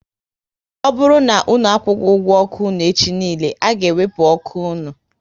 Ọ bụrụ na unu akwughi ụgwọ ọkụ unu echi niile, a ga ewepu ọkụ unu